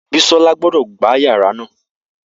Bisola gbọdọ gba yara naa!